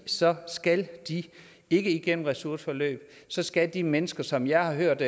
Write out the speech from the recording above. så skal de ikke igennem ressourceforløb så skal de mennesker som jeg har hørt